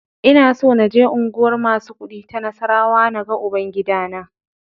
Ina so naje unguwar masu kuɗi ta Nassarawa na ga Uban-gidana.